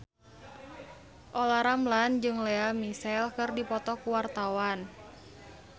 Olla Ramlan jeung Lea Michele keur dipoto ku wartawan